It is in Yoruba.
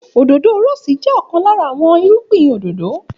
Òdòdó rọ́ọ́sì jẹ́ ọ̀kan lára àwọn irúgbìn òdòdó